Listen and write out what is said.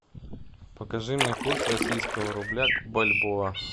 покажи мне курс российского рубля к бальбоа